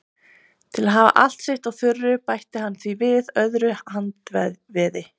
Til að hafa allt sitt á þurru bætti hann því við öðru handveði.